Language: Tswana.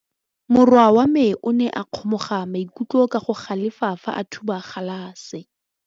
Morwa wa me o ne a kgomoga maikutlo ka go galefa fa a thuba galase.